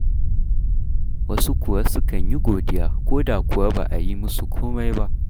Wasu kuwa sukan yi godiya ko da kuwa ba a yi musu komai ba.